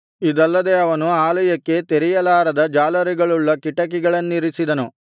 ಇದಲ್ಲದೆ ಅವನು ಆಲಯಕ್ಕೆ ತೆರೆಯಲಾರದ ಜಾಲರಿಗಳುಳ್ಳ ಕಿಟಿಕಿಗಳನ್ನಿರಿಸಿದನು